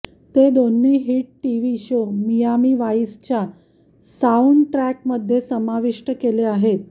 ते दोन्ही hit TV show Miami वाइसच्या साउंडट्रॅकमध्ये समाविष्ट केले आहेत